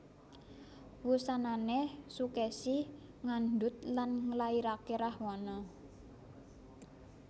Wusanané Sukèsi ngandhut lan nglairaké Rahwana